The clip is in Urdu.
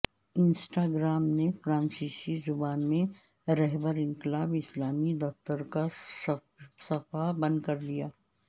انسٹاگرام نے فرانسیسی زبان میں رہبر انقلاب اسلامی کے دفتر کا صفحہ بند کردیا